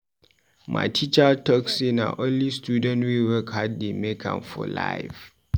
My teacher talk sey na only student wey work hard dey make am for life.